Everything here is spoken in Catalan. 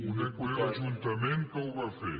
conec bé l’ajuntament que ho va fer